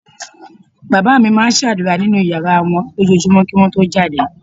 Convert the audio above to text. Bàbá mi máa ń ṣàdúrà nínú yàrá wọn lójoojúmọ́ kí wọ́n tó jáde